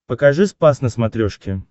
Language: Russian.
покажи спас на смотрешке